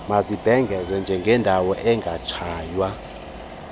mazibhengezwe njengeendawo ekungatshaywa